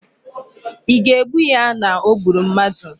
Ị ga-egbu ya na o gburu mmadu!